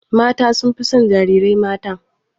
Mata sun fi son jarirai mata.